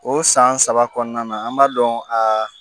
O san saba kɔnɔna na an b'a dɔn a